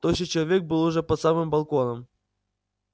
тощий человек был уже под самым балконом